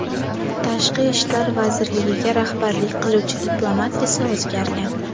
Tashqi ishlar vazirligiga rahbarlik qiluvchi diplomat esa o‘zgargan.